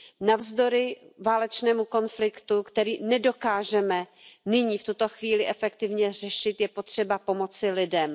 Navzdory válečnému konfliktu, který nedokážeme nyní v tuto chvíli efektivně řešit, je potřeba pomoci lidem.